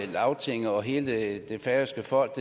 lagtinget og hele det færøske folk